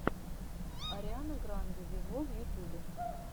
ариана гранде вево в ютубе